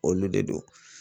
Olu de don